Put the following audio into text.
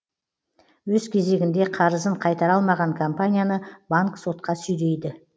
өз кезегінде қарызын қайтара алмаған компанияны банк сотқа сүйрейді